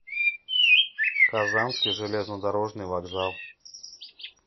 казанский железнодорожный вокзал